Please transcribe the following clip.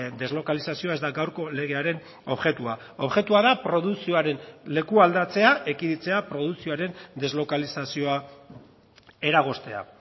deslokalizazioa ez da gaurko legearen objektua objektua da produkzioaren lekualdatzea ekiditea produkzioaren deslokalizazioa eragoztea